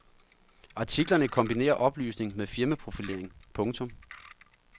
Artiklerne kombinerer oplysning med firmaprofilering. punktum